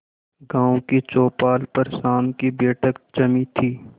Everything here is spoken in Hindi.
गांव की चौपाल पर शाम की बैठक जमी थी